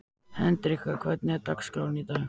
Hendrikka, hvernig er dagskráin í dag?